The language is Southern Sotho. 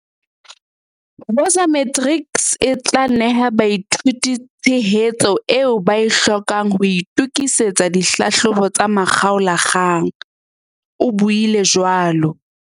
"Woza Matrics e tla neha baithuti tshehetso eo ba e hlokang ho itokisetsa dihlahlobo tsa makgaola-kgang," o buile jwalo.